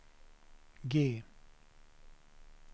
G